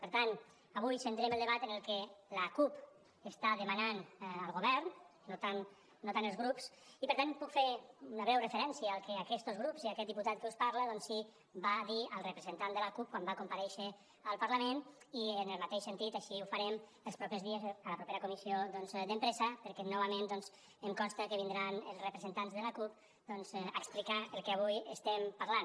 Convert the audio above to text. per tant avui centrem el debat en el que l’acup està demanant al govern no tant els grups i per tant puc fer una breu referència al que aquest grup i aquest diputat que us parla doncs sí va dir al representant de l’acup quan va comparèixer al parlament i en el mateix sentit així ho farem els propers dies a la propera comissió d’empresa perquè novament doncs em consta que vindran els representants de l’acup a explicar el que avui estem parlant